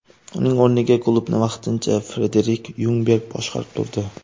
Uning o‘rniga klubni vaqtincha Frederik Yungberg boshqarib turdi.